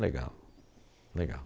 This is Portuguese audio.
Legal, legal.